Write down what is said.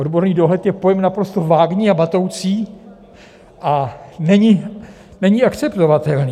Odborný dohled je pojem naprosto vágní a matoucí a není akceptovatelný.